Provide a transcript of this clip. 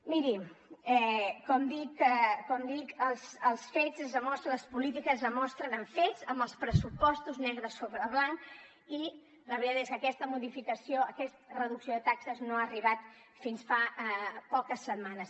miri com dic les polítiques es demostren amb fets amb els pressupostos negre sobre blanc i la veritat és que aquesta modificació aquesta reducció de taxes no ha arribat fins fa poques setmanes